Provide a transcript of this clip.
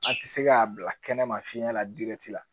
A tɛ se k'a bila kɛnɛ ma fiɲɛ la dirɛti la